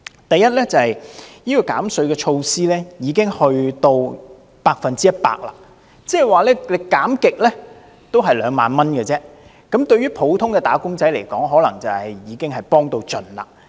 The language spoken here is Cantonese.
第一，減稅措施已經達到百分之一百，即是怎樣減也只是兩萬元而已，對普通"打工仔"來說，可能已經是幫到盡。